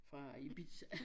Fra Ibiza